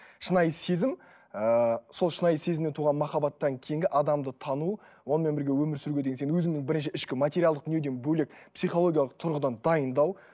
шынайы сезім ыыы сол шынайы сезімнен туған махаббаттан кейінгі адамды тану онымен бірге өмір сүруге деген сен өзіңнің бірінші ішкі материалдық дүниеден бөлек психологиялық тұрғыдан дайындау